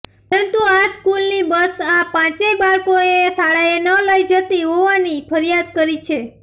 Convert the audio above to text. પરંતુ આ સ્કુલની બસઆ પાંચેય બાળકોને શાળાને ન લઈ જતી હોવાની ફરીયાદ કરી છે